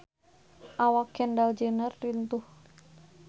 Awak Kendall Jenner lintuh